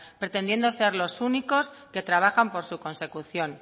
pretendiendo ser los únicos que trabajan por su consecución